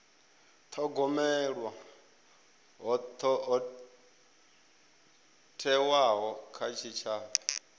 thogomelwa ho thewaho kha tshitshavha